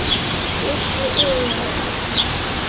Bjössi iðar allur.